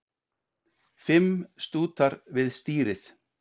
Fimm stútar við stýrið